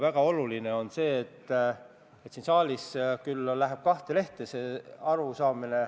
Eelnõu 47 esimene lugemine toimus 25. septembril.